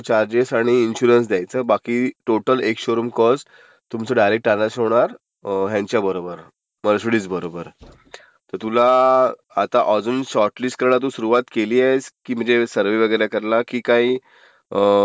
Charges आणि insurance द्यायच, बाकी total ex showroom cost तुमचं डायरेक्ट no clear ह्यांच्याबरोबर मर्सिडीजबरोबर. तर तुला आता अजुन शॉर्टलिस्ट करणं सुरूवात केलीयस, की म्हणजे सर्व्हे वगैरे करायला. की काही,